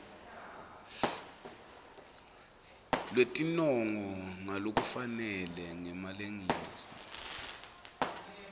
lwetinongo ngalokufanele ngemalengiso